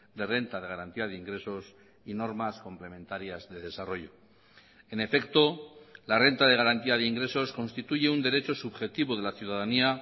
de renta de garantía de ingresos y normas complementarias de desarrollo en efecto la renta de garantía de ingresos constituye un derecho subjetivo de la ciudadanía